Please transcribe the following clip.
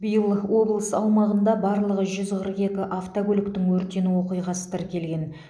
биыл облыс аумағында барлығы жүз қырық екі автокөліктің өртену оқиғасы тіркелген